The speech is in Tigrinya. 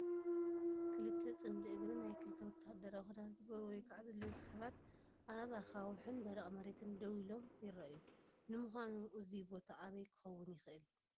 ክልተ ፅምዲ እግሪ ናይ ክልተ ወተሃደራዊ ክዳን ዝገበሩ ወይ ከዓ ዝለበሱ ሰባት ኣብ ኣኻውሕን ደረቕን መሬት ደው ኢሎም ይረኣዩ። ንሚዃኑ እዚ ቦታ ኣበይ ክኸውን ይኽእል?